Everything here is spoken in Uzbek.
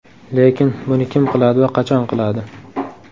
Lekin buni kim qiladi va qachon qiladi?